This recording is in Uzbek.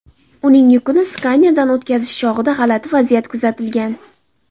Uning yukini skanerdan o‘tkazish chog‘ida g‘alati vaziyat kuzatilgan.